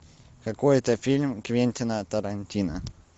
какой то фильм квентина тарантино